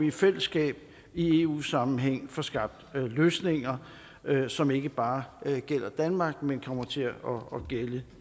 i fællesskab i eu sammenhæng får skabt løsninger som ikke bare gælder danmark men kommer til at gælde